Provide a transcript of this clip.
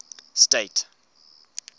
state